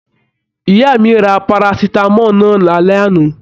Ìyá mí rà parasitamọ náà l'alẹ ana.